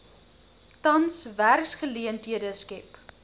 tans werksgeleenthede skep